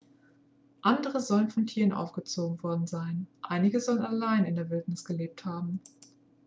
andere sollen von tieren aufgezogen worden sein einige sollen allein in der wildnis gelebt haben